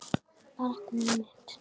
Barn mitt.